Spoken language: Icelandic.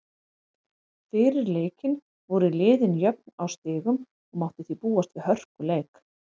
Fyrir leikinn voru liðin jöfn á stigum og mátti því búast við hörkuleik.